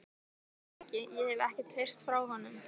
Ég veit það ekki, ég hef ekkert heyrt frá honum.